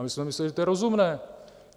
A my jsme mysleli, že to je rozumné.